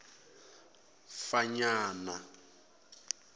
fanyana